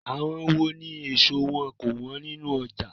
Àwọn wó ní ẹ̀so wọn kò wọ́n nínú ọjà?